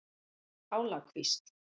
Álakvísl